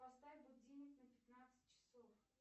поставь будильник на пятнадцать часов